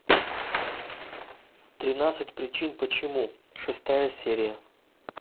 тринадцать причин почему шестая серия